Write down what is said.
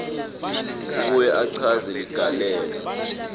abuye achaze ligalelo